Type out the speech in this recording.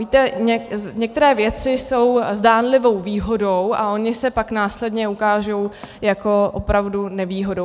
Víte, některé věci jsou zdánlivou výhodou a ony se pak následně ukážou jako opravdu nevýhodou.